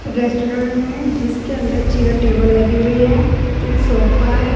Restaurant में जिसके अंदर चेयर टेबल लगे हुए हैं एक सोफा हैं।